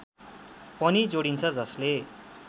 पनि जोडिन्छ जसले